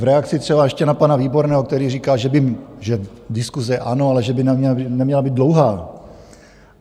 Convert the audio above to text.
V reakci třeba ještě na pana Výborného, který říkal, že diskuse ano, ale že by neměla být dlouhá.